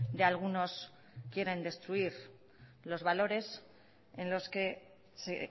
de algunos quieren destruir los valores en los que se